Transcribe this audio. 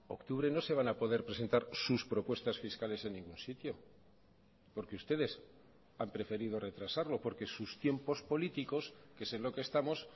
octubre no se van a poder presentar sus propuestas fiscales en ningún sitio porque ustedes han preferido retrasarlo porque sus tiempos políticos qué es en lo que estamos